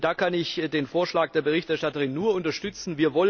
Da kann ich den Vorschlag der Berichterstatterin nur unterstützen.